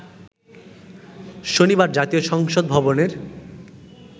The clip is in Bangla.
শনিবার জাতীয় সংসদ ভবনের